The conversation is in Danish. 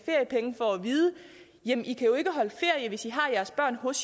vide jamen i kan jo ikke holde ferie hvis i har jeres børn hos